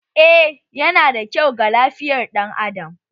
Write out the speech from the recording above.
Eh, yana da kyau ga lafiyan dan Adam